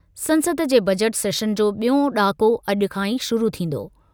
संसद जे बजट सेशनु जो बि॒यों ॾाको अॼु खां ई शुरू थींदो।